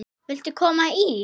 Viltu koma í?